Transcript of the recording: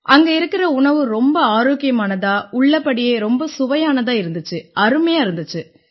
அங்க இருக்கற உணவு ரொம்ப ஆரோக்கியமானதா உள்ளபடியே ரொம்ப சுவையானதா இருந்திச்சு அருமையா இருந்திச்சு